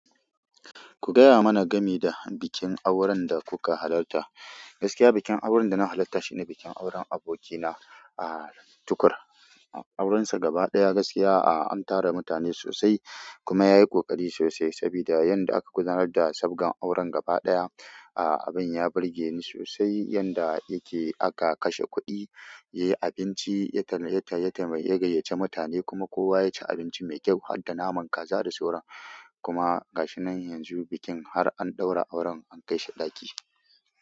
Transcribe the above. Ku gaya mana game da bikin auren da kuka halarta. Gaskiya bikin auren da na halarta shine bikin auren abokina a Tukur. Auren sa gaba ɗaya gaskiya a, an tara mutane sosai kuma ya yi ƙoƙari sosai sabida yanda aka gudanar da sabgan auren gaba ɗaya. A abin ya burge ni sosai yanda yake aka kashe kuɗi, yayi abinci, ya taima, ya gayyaci mutane kuma kowa ya ci abinci mai kyau, har da naman kaza da sauran. Kuma ga shi nan yanzu bikin har an ɗaura auren an kai shi ɗaki.